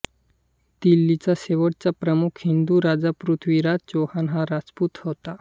दिल्लीचा शेवटचा प्रमुख हिंदू राजा पृथ्वीराज चौहान हा रजपूत होता